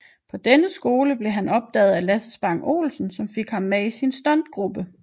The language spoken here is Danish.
På denne skole blev han opdaget af Lasse Spang Olsen som fik ham med i sin stuntgruppe